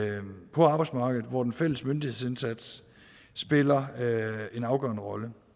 på arbejdsmarkedet hvor den fælles myndighedsindsats spiller en afgørende rolle